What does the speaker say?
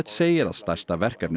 segir að stærsta verkefnið